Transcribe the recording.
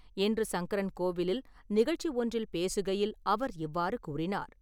இன்று சங்கரன் கோவிலில் நிகழ்ச்சி ஒன்றில் பேசுகையில் அவர் இவ்வாறு கூறினார்.